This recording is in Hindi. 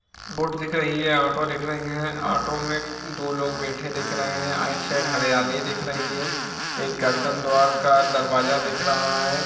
बोट दिख रखी है ऑटो दिख रही है ऑटो मे दो लोग बैैैठे दिख रहे है आइट साइड हर्रियाली दिख रही हैँ एक गर्दन द्वारका दरवाज़ा दिख रहा हैँ।